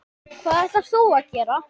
Hvað ætlar þú að gera?